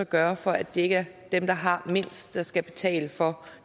gøre for at det ikke dem der har mindst der skal betale for